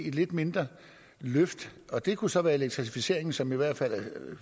et lidt mindre løft og det kunne så være elektrificeringen som i hvert fald